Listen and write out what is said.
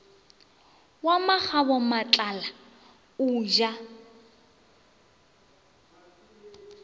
wa makgabo matlala o ja